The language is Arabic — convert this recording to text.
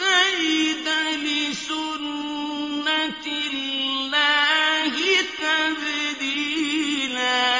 تَجِدَ لِسُنَّةِ اللَّهِ تَبْدِيلًا